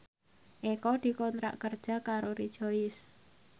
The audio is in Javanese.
Eko dikontrak kerja karo Rejoice